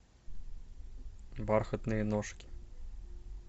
бархатные ножки